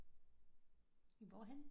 Hvorhenne